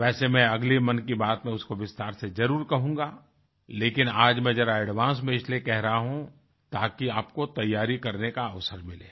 वैसे मैं अगली मन की बात में उसको विस्तार से जरुर कहूँगा लेकिन आज मैं जरा एडवांस में इसलिए कह रहा हूँ ताकि आपको तैयारी करने का अवसर मिले